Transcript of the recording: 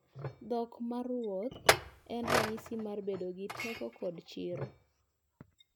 Dhok maruoth en ranyisi mar bedo gi teko kod chir.